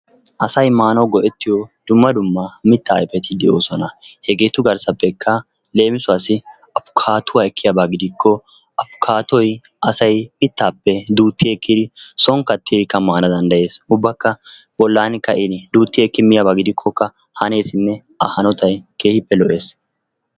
asay maanaw go''ettiyo dumma dumma mitta ayfeti de'oosona. hegetu garssappekka leemisuwassi Aikaattuwa ekkiyaaba gidikko afikaattoy asay mittappe duutti ekkidi soon kattidikka maana danddayees. ubbakka bollan ka'in duutti ekki miyaba gidikkoka haneessinne a hanotay keehippe lo''ees.